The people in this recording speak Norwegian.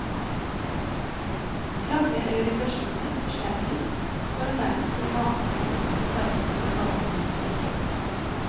Klanger eller vibrasjoner forsterkes, for nærmest å mane frem noe som hverdagslivet vanligvis dekker.